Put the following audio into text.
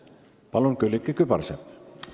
Palun, Külliki Kübarsepp!